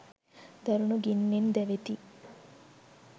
දරුණු ගින්නෙන් දැවෙති